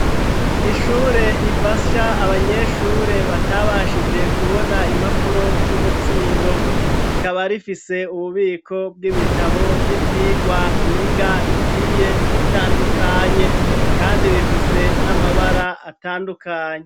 Ishure rifasha abanyeshure batabashije kubona impapuro z'umutsindo ikaba rifise ububiko bw'ibitabo vy'ivyigwa biga bigiye bitandukanye kandi bifise n'amabara atandukanye.